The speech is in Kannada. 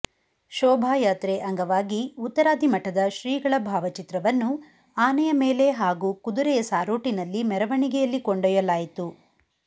ಶೋಭಾಯಾತ್ರೆ ಅಂಗವಾಗಿ ಉತ್ತರಾದಿಮಠದ ಶ್ರೀಗಳ ಭಾವಚಿತ್ರವನ್ನು ಆನೆಯ ಮೇಲೆ ಹಾಗೂ ಕುದುರೆಯ ಸಾರೋಟಿನಲ್ಲಿ ಮೆರವಣಿಗೆಯಲ್ಲಿ ಕೊಂಡೊಯ್ಯಲಾಯಿತು